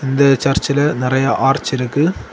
இந்த சர்ச்சில நெறைய ஆர்ச் இருக்கு.